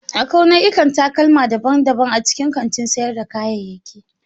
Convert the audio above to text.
Akwai nau'ikan takalma daban-daban a cikin kantin sayar da kayayyaki.